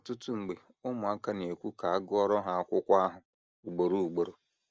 Ọtụtụ mgbe ụmụaka na - ekwu ka a gụọrọ ha akụkọ ahụ ugboro ugboro.